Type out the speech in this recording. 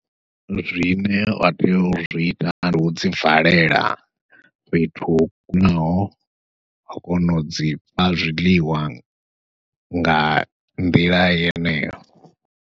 Zwine wa tea u zwi ita ndi u dzi valela fhethu ho kunaho wa kona u dzi fha zwiḽiwa nga nḓila yeneyo.